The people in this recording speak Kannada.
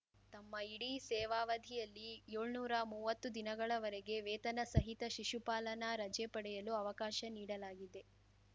ತಮ್ಮ ಇಡೀ ಸೇವಾವಧಿಯಲ್ಲಿ ಯೋಳ್ನೂರಾ ಮುವ್ವತ್ತು ದಿನಗಳವರೆಗೆ ವೇತನ ಸಹಿತ ಶಿಶುಪಾಲನಾ ರಜೆ ಪಡೆಯಲು ಅವಕಾಶ ನೀಡಲಾಗಿದೆ